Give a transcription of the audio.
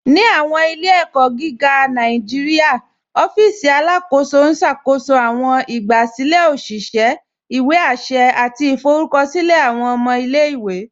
Ni awọn ilẹ̀-ẹ̀kọ̀ giga Nàìjíríà, òfìsì Alákóso n ṣákóṣó awọn ìgbàsílẹ̀ òṣìṣẹ̀, ìwé àṣẹ̀, àti ìfọ̀rùkọ̀ṣílẹ̀ awọn ọmọ ilẹ̀-iwe.